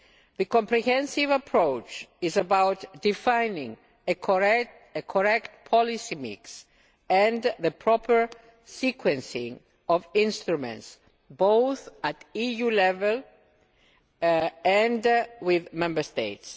The comprehensive approach is about defining a correct policy mix and the proper sequencing of instruments, both at EU level and with Member States.